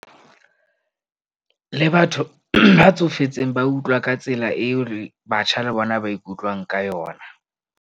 Le batho ba tsofetseng ba utlwa ka tsela eo batjha le bona ba ikutlwang ka yona.